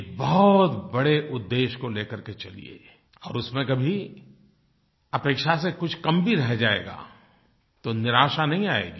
एक बहुत बड़े उद्देश्य को ले कर के चलिये और उसमें कभी अपेक्षा से कुछ कम भी रह जाएगा तो निराशा नहीं आएगी